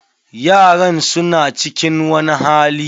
Yaran su na cikin wani hali.